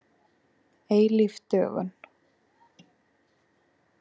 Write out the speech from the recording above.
Eilíf dögun.